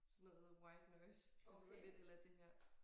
Sådan noget white noise der lyder lidt a la det her